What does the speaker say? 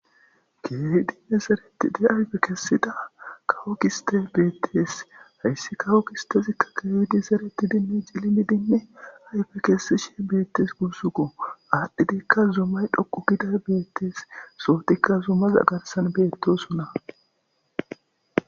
Keehidinne zeretid ayfe kesida kawo gistey betes, hays kawo gistezika keehid zeretidinne cililidinne ayfe kesishe betes gusuko, adhidka zumay dhoqu giday betes, sohotika zumaza garsan betosona.